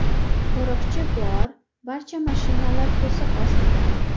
Qo‘riqchi bor, barcha mashinalar to‘siq ostida.